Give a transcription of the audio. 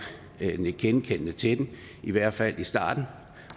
nikke genkendende til den i hvert fald i starten